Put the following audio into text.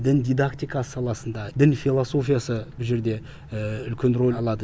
дін дидактика саласында дін философиясы бұл жерде үлкен рөл алады